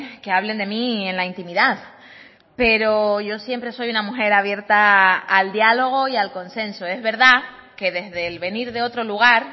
que hablen de mí en la intimidad pero yo siempre soy una mujer abierta al diálogo y al consenso es verdad que desde el venir de otro lugar